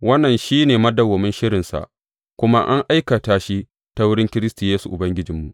Wannan shi ne madawwamin shirinsa, kuma an aikata shi ta wurin Kiristi Yesu Ubangijinmu.